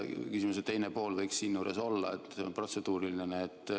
Küsimuse teine pool võiks siinjuures olla järgmine.